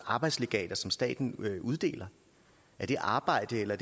arbejdslegater som staten uddeler er det arbejde eller